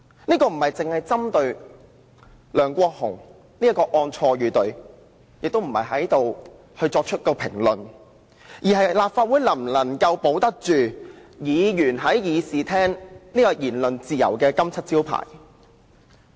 這事情並非針對梁國雄議員一案的錯與對，亦不是要作出任何評論，而是關乎立法會能否保住議員在議事廳享有言論自由這個金漆招牌。